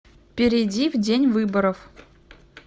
перейди в день выборов